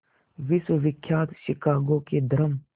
विश्वविख्यात शिकागो के धर्म